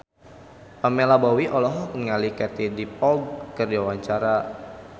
Pamela Bowie olohok ningali Katie Dippold keur diwawancara